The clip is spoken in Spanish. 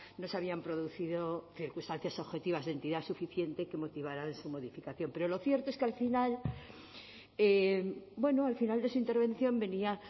no se habían producido circunstancias objetivas de entidad suficiente que motivaran su modificación pero lo cierto es que al final bueno al final de su intervención venía